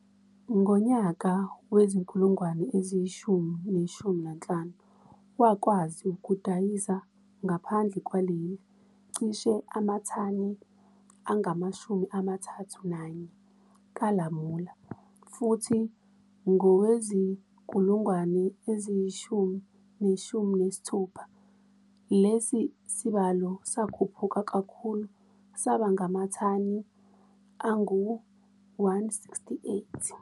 Ngonyaka wezi-2015, wakwazi ukudayisa ngaphandle lwaleli cishe amathani angama-31 kalamula futhi ngowezi-2016, lesi sibalo sakhuphuka kakhulu sabangamathani angu-168.